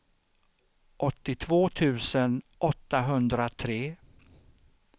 åttiotvå tusen åttahundratre